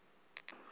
uwaleza